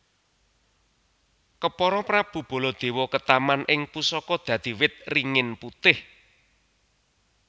Kepara Prabu Baladewa ketaman ing pusaka dadi wit ringin putih